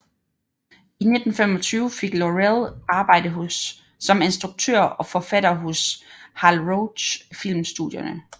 I 1925 fik Laurel arbejde som instruktør og forfatter hos Hal Roach filmstudierne